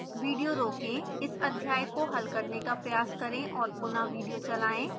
video रोकें इस अध्याय को हल करने का प्रयास करें और पुनः विडियो चलाएं